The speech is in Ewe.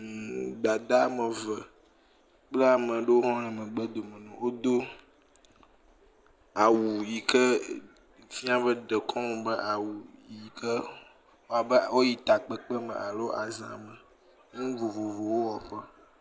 Hmm, dada ame ve, kple ame aɖewo le woƒe megbedome na wo, wodo awu yi ke fia be dekɔnu be awu, yi ke woyi takpekpe me alo aza me, nu vovovowo wɔ ƒe.